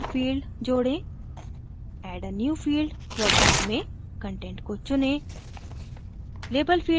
एक और field जोडें add a new field dropdown में content को चुनें